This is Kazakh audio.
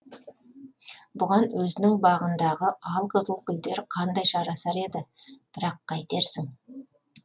бұған өзінің бағындағы алқызыл гүлдер қандай жарасар еді бірақ қайтерсің